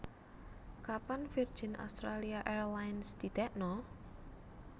Kapan Virgin Australia Airlines didekno?